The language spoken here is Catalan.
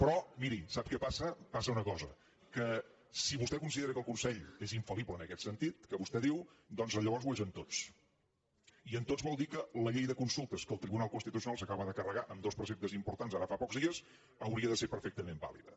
però miri sap què passa passa una cosa que si vostè considera que el consell és infaldiu doncs llavors ho és amb tots i amb tots vol dir que la llei de consultes que el tribunal constitucional s’acaba de carregar en dos preceptes importants ara fa pocs dies hauria de ser perfectament vàlida